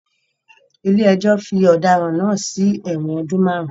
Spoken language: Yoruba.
Ilé ẹjọ́ fi ọ̀daràn náà sí ẹ̀wọ̀n ọdún márùn-ún